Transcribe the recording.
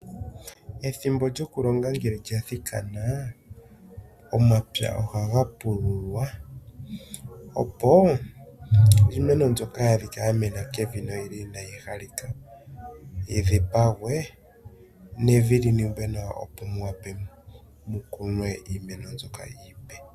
Ethimbo lyokulonga ngele lya thikana omapya ohaga pululwa opo iimeno mbyoka ya adhikwa yamena kevi noyili inayi halika yidhipagwe nevi liningwe nawa opo muwape mukunwe iimeno mbyoka iipe.